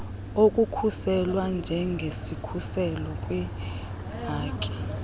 okukhusela njengesikhuselo kwiihaki